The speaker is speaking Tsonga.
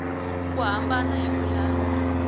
ku hambana hi ku landza